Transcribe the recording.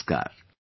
Namaskar